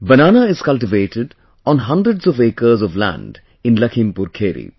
Banana is cultivated on hundreds of acres of land in Lakhimpur Kheri